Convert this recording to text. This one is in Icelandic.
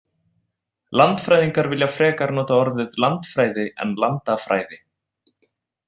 Landfræðingar vilja frekar nota orðið landfræði en landafræði.